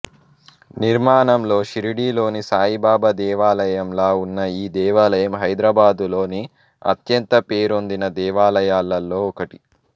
నిర్మాణంలో షిర్డీలోని సాయిబాబా దేవాలయంలా ఉన్న ఈ దేవాలయం హైదరాబాదులోని అత్యంత పేరొందిన దేవాలయాలలో ఒకటి